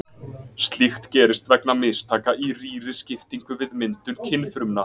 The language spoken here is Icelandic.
Slíkt gerist vegna mistaka í rýriskiptingu við myndun kynfrumna.